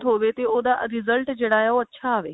ਹੋਵੇ ਤੇ ਉਹਦਾ result ਜਿਹੜਾ ਆ ਉਹ ਅੱਛਾ ਆਵੇ